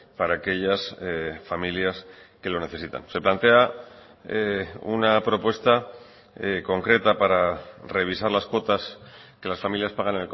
para aquellas familias que lo necesitan se plantea una propuesta concreta para revisar las cuotas que las familias pagan